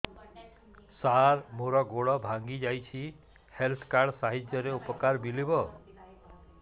ସାର ମୋର ଗୋଡ଼ ଭାଙ୍ଗି ଯାଇଛି ହେଲ୍ଥ କାର୍ଡ ସାହାଯ୍ୟରେ ଉପକାର ମିଳିବ